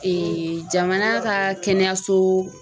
Ee jamana ka kɛnɛyaso